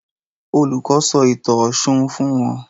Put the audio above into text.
Olùkó sọ ìtàn òshun fún wón